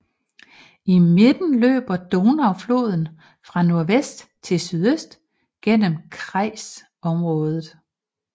I midten løber Donaufloden fra nordvest til sydøst gennem kreisområdet